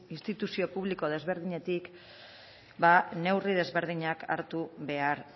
instituzio publiko desberdinetik neurri desberdinak hartu behar